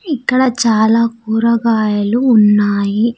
ఇక్కడ చాలా కూరగాయలు ఉన్నాయి.